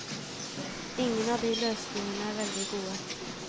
Ingen av de løsningene er veldig gode.